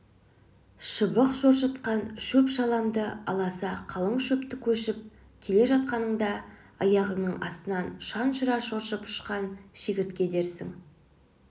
шыбық шоршытқан шөп-шаламды аласа қалың шөпті кешіп келе жатқаныңда аяғыңның астынан жанұшыра шоршып ұшқан шегіртке дерсің